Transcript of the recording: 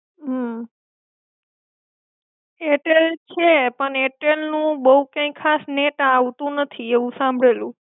હમ એરટેલ છે. પણ એરટેલ નું બો કઈ ખાસ નેટ આવતું નથી, એવું સાંભળેલું.